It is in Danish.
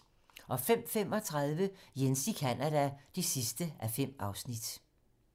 05:35: Jens i Canada (5:5)